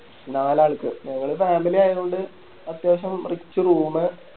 നാല് ആൾക്ക് ഞങ്ങള് Family ആയത് കൊണ്ട് അത്യാവശ്യം Rich room